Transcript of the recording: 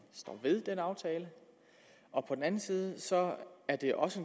står ved den aftale og på den anden side at det også